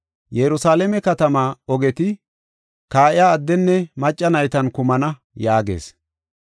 Yerusalaame katamaa ogeti kaa7iya addenne macca naytan kumana” yaagees.